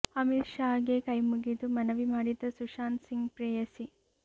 ಅಮಿತ್ ಶಾ ಗೆ ಕೈಮುಗಿದು ಮನವಿ ಮಾಡಿದ ಸುಶಾಂತ್ ಸಿಂಗ್ ಪ್ರೇಯಸಿ